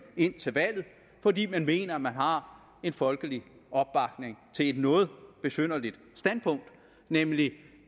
indtil valget fordi man mener at man har en folkelig opbakning til et noget besynderligt standpunkt nemlig